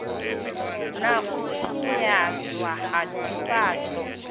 na u tshinyadzwa ha zwifhaṱo